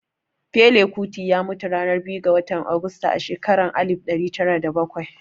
Fela Kuti ya mutu ranar biyu ga watan Augusta a shekara ta alif ɗari tara da bakwai